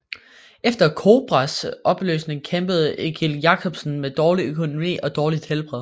Efter COBRAs opløsning kæmpede Egill Jacobsen med dårlig økonomi og dårligt helbred